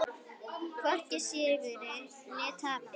Hvorki í sigri né tapi.